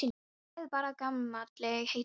Já, hlæið bara að gamalli hetju.